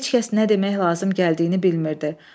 Heç kəs nə demək lazım gəldiyini bilmirdi.